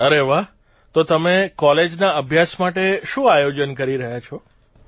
અરે વાહ તો તમે કોલેજના અભ્યાસ માટે શું આયોજન કરી રહ્યા છો